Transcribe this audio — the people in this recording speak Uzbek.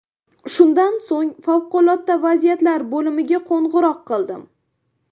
Shundan so‘ng favqulodda vaziyatlar bo‘limiga qo‘ng‘iroq qildim.